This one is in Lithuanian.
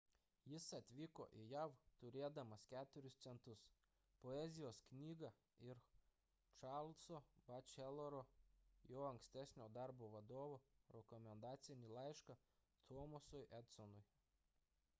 jis atvyko į jav turėdamas 4 centus poezijos knygą ir charleso batcheloro jo ankstesnio darbo vadovo rekomendacinį laišką thomasui edisonui